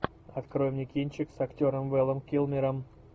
открой мне кинчик с актером вэлом килмером